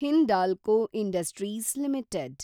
Hindalco industries limited